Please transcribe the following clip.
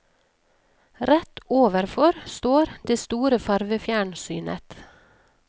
Rett overfor står det store farvefjernsynet.